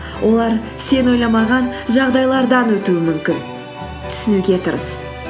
олар сен ойламаған жағдайлардан өтуі мүмкін түсінуге тырыс